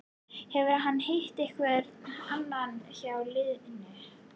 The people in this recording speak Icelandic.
Hefur hann hitt einhvern annan hjá liðinu?